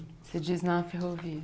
Você diz na ferrovia.